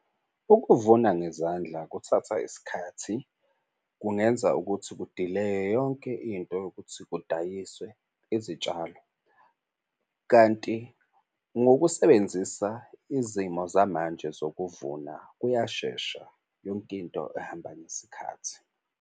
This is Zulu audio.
Ukuvuna ngezandla kuthatha isikhathi kungenza ukuthi kudileye yonke into yokuthi kudayiswe izitshalo, kanti ngokusebenzisa izimo zamanje zokuvuna kuyashesha. Yonke into ihamba ngesikhathi.